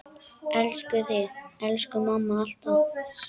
Elskum þig, elsku amma, alltaf.